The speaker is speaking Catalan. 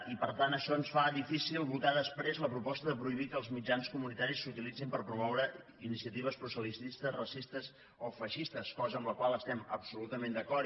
i per tant això ens fa difícil votar després la proposta de prohibir que els mitjans comunitaris s’utilitzin per promoure iniciatives proselitistes racistes o feixistes cosa amb la qual estem absolutament d’acord